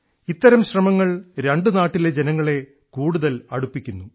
ഇത്തരം ശ്രമങ്ങൾ രണ്ടു നാടുകളിലെ ജനങ്ങളെ കൂടുതൽ അടുപ്പിക്കുന്നു